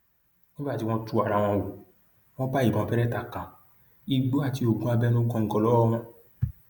nígbà tí wọn tú ara wọn wò wọn bá ìbọn beretta kan igbó àti oògùn abẹnú góńgó lọwọ wọn